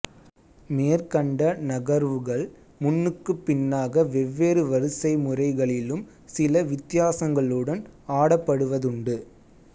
மேற்கண்ட நகர்வுகள் முன்னுக்குப் பின்னாக வெவ்வேறு வரிசை முறைகளிலும் சில வித்தியாசங்களுடன் ஆடப்படுவதுண்டு